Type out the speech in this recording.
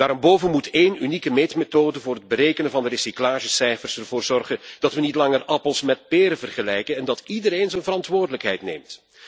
Daarenboven moet één unieke meetmethode voor het berekenen van de recyclagecijfers ervoor zorgen dat we niet langer appels met peren vergelijken en dat iedereen zijn verantwoordelijkheid neemt.